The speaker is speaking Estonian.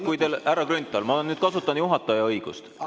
Jaa, aga, härra Grünthal, ma kasutan nüüd juhataja õigust.